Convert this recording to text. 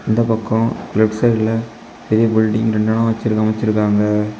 இந்த பக்கம் லெஃப்ட் சைடுல பெரிய பில்டிங் எல்லா வச்சி அமைச்சிருக்காங்க.